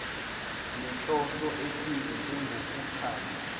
nenhloso ethize njengokuchaza